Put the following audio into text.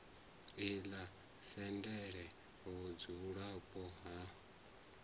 ḽi sa tendele vhudzulapo ha